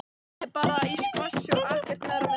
Hann er bara í skvassi og ekkert meira með það.